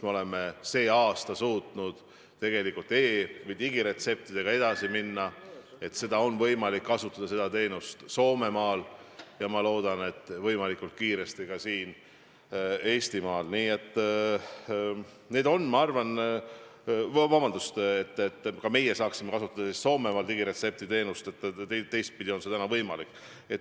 Me oleme see aasta suutnud tegelikult digiretseptidega edasi liikuda, et ka meie saaksime kasutada Soomemaal digiretseptiteenust, teistpidi on see juba praegu võimalik.